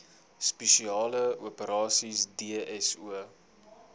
spesiale operasies dso